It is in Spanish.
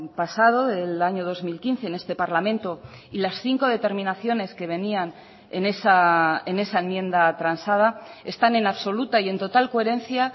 pasado del año dos mil quince en este parlamento y las cinco determinaciones que venían en esa enmienda transada están en absoluta y en total coherencia